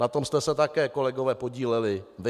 Na tom jste se také, kolegové, podíleli vy.